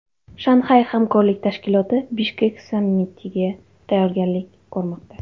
Shanxay hamkorlik tashkiloti Bishkek sammitiga tayyorgarlik ko‘rmoqda.